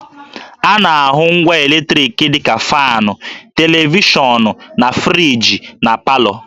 A na-ahụ ngwa eletriki dị ka faanụ, televishọnụ, na friji na palọ